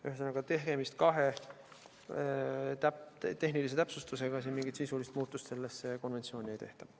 Ühesõnaga, tegemist on kahe tehnilise täpsustusega, mingit sisulist muudatust sellesse konventsiooni ei tehta.